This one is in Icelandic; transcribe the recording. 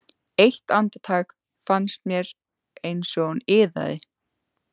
Eitt andartak fannst mér eins og hún iðaði.